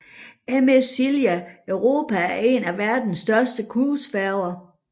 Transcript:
MS Silja Europa er en af verdens største cruisefærger